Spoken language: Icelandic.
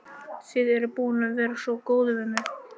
Þið eruð búin að vera svo góð við mig.